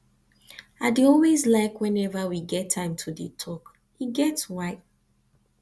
i dey always like whenever we get time to dey talk e get why